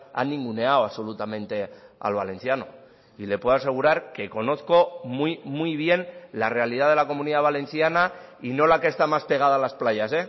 ha ninguneado absolutamente al valenciano y le puedo asegurar que conozco muy muy bien la realidad de la comunidad valenciana y no la que está más pegada a las playas